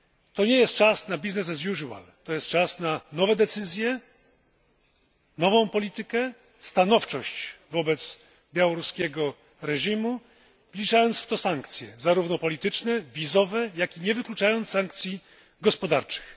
To nie jest czas na business as usual, to jest czas na nowe decyzje, nową politykę, stanowczość wobec białoruskiego reżimu, wliczając w to sankcje, zarówno polityczne, jak i wizowe, nie wykluczając sankcji gospodarczych.